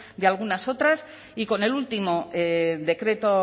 de algunas otras y con el último decreto